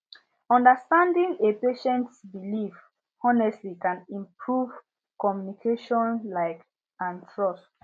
understanding a patients beliefs honestly can improve communication like and trust